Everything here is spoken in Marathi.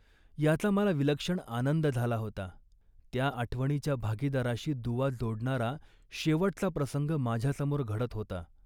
याचा मला विलक्षण आनंद झाला होता. त्या आठवणीच्या भागीदाराशी दुवा जोडणारा शेवटचा प्रसंग माझ्यासमोर घडत होता